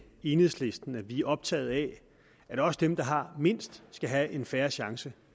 enhedslisten at vi er optaget af at også dem der har mindst skal have en fair chance